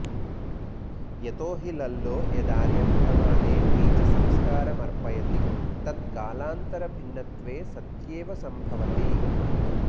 यतो हि लल्लो यदार्यभटमाने बीजसंस्कार मर्पयति तत्कालान्तरभिन्नत्वे सत्येव सम्भवति